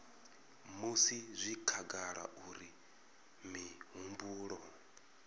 musi zwi khagala uri mihumbulo